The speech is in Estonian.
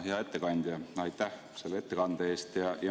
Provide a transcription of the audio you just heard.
Hea ettekandja, aitäh selle ettekande eest!